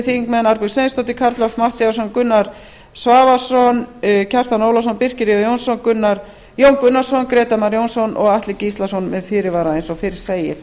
þingmenn arnbjörg sveinsdóttir karl fimmti matthíasson gunnar svavarsson kjartan ólafsson birkir jón jónsson jón gunnarsson grétar mar jónsson og atli gíslason með fyrirvara eins og fyrr segir